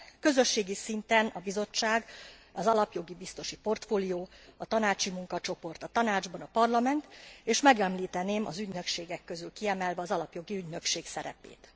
Közösségi szinten a Bizottság, az alapjogi biztosi portfólió, a tanácsi munkacsoport a Tanácsban, a Parlament és megemlíteném az ügynökségek közül kiemelve az Alapjogi Ügynökség szerepét.